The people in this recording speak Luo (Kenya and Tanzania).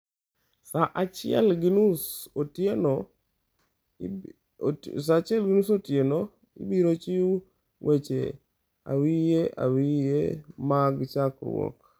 Saa achiel gi nus otieno ibiro chiw weche awiye awiye mag chakruok.